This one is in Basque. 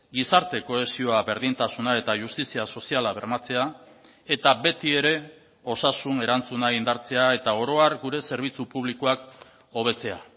gizarte kohesioa berdintasuna eta justizia soziala bermatzea eta betiere osasun erantzuna indartzea eta orohar gure zerbitzu publikoak hobetzea